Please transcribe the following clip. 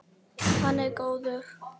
Hann er góður.